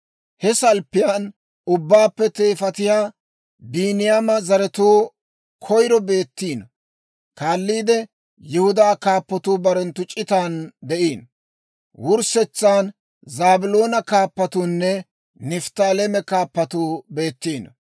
He salppiyaan ubbaappe teefatiyaa, Biiniyaama zaratuu koyiro beettiino. Kaalliide Yihudaa kaappatuu barenttu c'itaana de'iino; wurssetsan Zaabiloona Kaappatuunne Nifttaaleema kaappatuu beettiino.